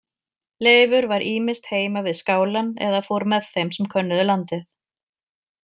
Leifur var ýmist heima við skálann eða fór með þeim sem könnuðu landið.